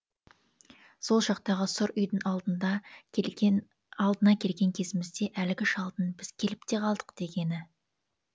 сол жақтағы сұр үйдің алдына келген кезімізде әлгі шалдың біз келіп те қалдық дегені